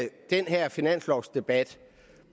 den her finanslovsdebat